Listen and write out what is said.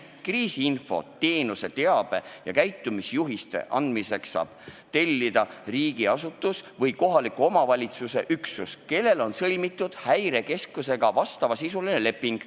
Kriisiinfo teenuse teabe ja käitumisjuhiste andmiseks saab tellida riigiasutus või kohaliku omavalitsuse üksus, kel on sõlmitud Häirekeskusega vastavasisuline leping.